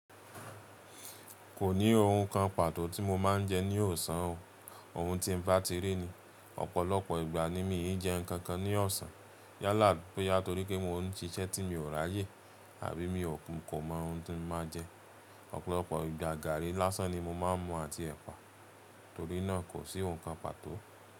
Kò ní ohun kan pàtó tí mo máa ń jẹ ní ọ̀sán ọ̀. Ohun tí mo bá ti rí ni, ọ̀pọ̀lọpọ̀ ìgbà ni mi ò ń jẹ nǹkan kan ní ọ̀sán. Yálà bóyá torí pé mò ń ṣiṣẹ́ tí mi o ráyè àbí mi o kò mọ ohun tí mo máa jẹ. Ọ̀pọ̀lọpọ̀ ìgbà gàrí lásán ni mo máa ń mu àti ẹ̀pà. Torí náà kò sí ohun kan pàtó.